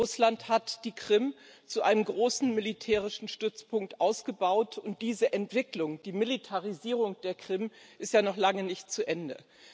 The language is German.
Russland hat die Krim zu einem großen militärischen Stützpunkt ausgebaut, und diese Entwicklung die Militarisierung der Krim ist ja noch lange nicht zu Ende.